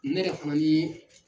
Ne yɛrɛ fana ye